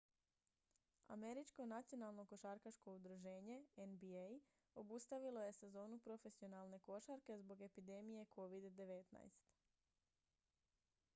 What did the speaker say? američko nacionalno košarkaško udruženje nba obustavilo je sezonu profesionalne košarke zbog epidemije covid-19